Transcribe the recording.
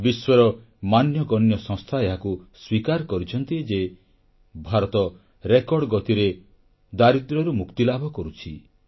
ବିଶ୍ୱର ମାନ୍ୟଗଣ୍ୟ ସଂସ୍ଥା ଏହାକୁ ସ୍ୱୀକାର କରିଛନ୍ତି ଯେ ଭାରତ ରେକର୍ଡ ଗତିରେ ଦାରିଦ୍ର୍ୟରୁ ମୁକ୍ତିଲାଭ କରୁଛି